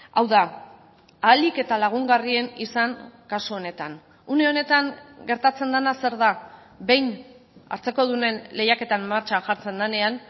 hau da ahalik eta lagungarrien izan kasu honetan une honetan gertatzen dena zer da behin hartzekodunen lehiaketan martxan jartzen denean